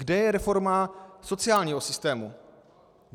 Kde je reforma sociálního systému?